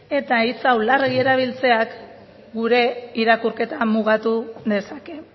eta hitz hau larregi erabiltzeak gure irakurketa mugatu dezake